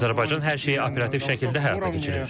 Azərbaycan hər şeyi operativ şəkildə həyata keçirir.